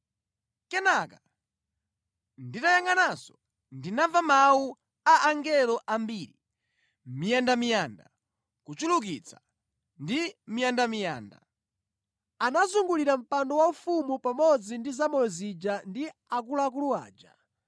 Kenaka nditayangʼananso ndinamva mawu a angelo ambiri, miyandamiyanda kuchulukitsa ndi miyandamiyanda. Anazungulira mpando waufumu pamodzi ndi zamoyo zija ndi akuluakulu aja.